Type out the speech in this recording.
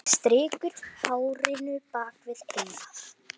Strýkur hárinu bak við eyrað.